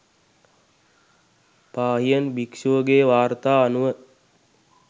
පාහියන් භික්‍ෂුවගේ වාර්තා අනුව